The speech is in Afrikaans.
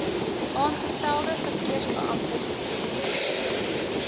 aangestelde verkeersbeamptes geïdentifiseer